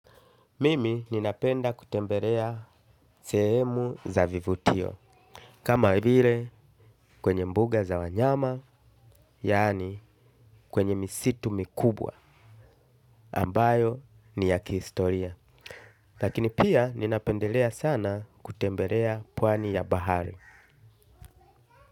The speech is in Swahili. Mimi ninapenda kutembelea sehemu za vivutio. Kama hivile kwenye mbuga za wanyama yani kwenye misitu mikubwa ambayo ni ya kihistoria. Lakini pia ninapendelea sana kutembelea puani ya bahari.